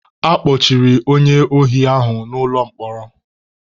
A kpọchiri onye ohi ahụ n'ụlọ mkpọrọ.